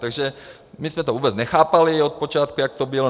Takže my jsme to vůbec nechápali od počátku, jak to bylo.